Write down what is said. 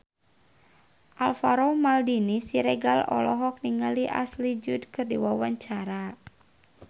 Alvaro Maldini Siregar olohok ningali Ashley Judd keur diwawancara